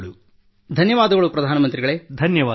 ಧನ್ಯವಾದಗಳು ಪ್ರಧಾನ ಮಂತ್ರಿಯವರೇ